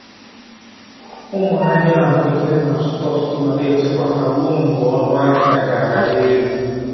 Ụmụ ahia ahụ ekere na-azụta ọtụtụ ma na-echekwa ha ruo mgbe ọnụahịa ga-arị elu.